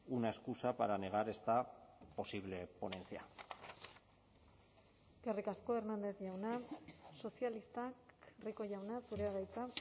una excusa para negar esta posible ponencia eskerrik asko hernández jauna sozialistak rico jauna zurea da hitza